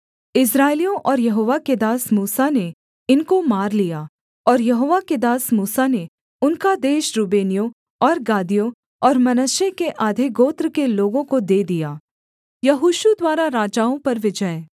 इस्राएलियों और यहोवा के दास मूसा ने इनको मार लिया और यहोवा के दास मूसा ने उनका देश रूबेनियों और गादियों और मनश्शे के आधे गोत्र के लोगों को दे दिया